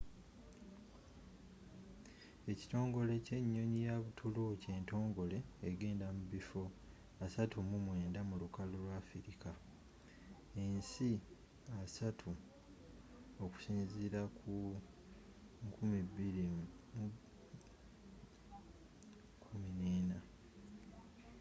ekitongole ky'enyonyi ya butuluuki entogole egenda mubiffo 39 mu lukalu lwa afilika ensi 30 okusinziila ku 2014